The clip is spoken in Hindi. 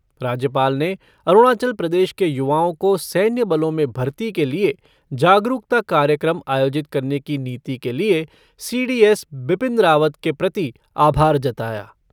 राज्यपाल ने अरुणाचल प्रदेश के युवाओं को सैन्य बलों में भर्ती के लिए जागरूकता कार्यक्रम आयोजित करने की नीति के लिए C D S Bipin Rawat के प्रति आभार जताया।